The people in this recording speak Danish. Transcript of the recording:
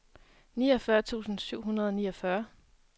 niogfyrre tusind syv hundrede og niogfyrre